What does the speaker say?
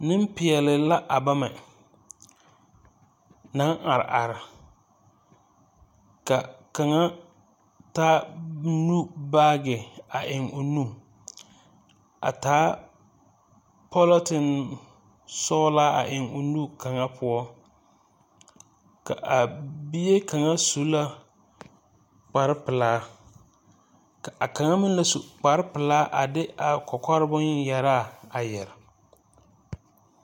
Nempeɛle la a bamɛ, naŋ are are, ka kaŋa taa nu baage a eŋ o nu, a taa pɔlɔtene sɔglaa a eŋ o nu kaŋa poɔ, ka a bie kaŋa su la kparepelaa, ka a kaŋa meŋ la su kparepelaa a de a kɔkɔre bon-yɛraa a yɛre.